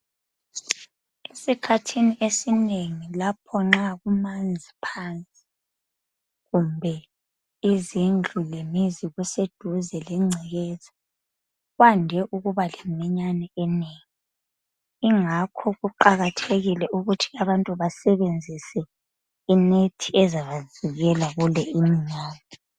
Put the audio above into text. Esikhathini esinengi lapho nxa kumanzi phansi, kumbe izindlu lemizi kuseduze lengcekeza, kwande ukuba leminyane enengi, ingakho kuqakathekile ukuthi abantu basebenzise inethi ezabavikela kule iminyane.